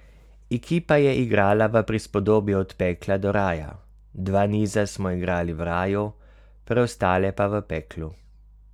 Ekipa je igrala v prispodobi od pekla do raja, dva niza smo igrali v raju, preostale pa v peklu.